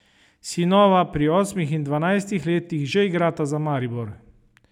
Sinova pri osmih in dvanajstih letih že igrata za Maribor.